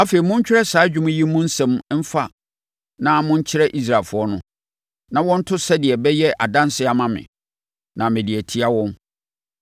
“Afei, montwerɛ saa dwom yi mu nsɛm mfa na monkyerɛ Israelfoɔ no, na wɔnto sɛdeɛ ɛbɛyɛ adansedeɛ ama me, na mede atia wɔn.